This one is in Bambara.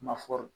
Ma fɔ quu